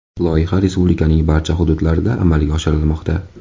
Loyiha respublikaning barcha hududlarida amalga oshirilmoqda.